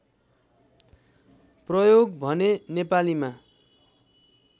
प्रयोग भने नेपालीमा